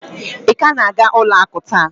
Ị ka na-aga ụlọ akụ taa?